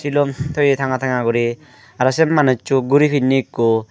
silum toye tanga tanga guri araw se manusso guri pinne ekko.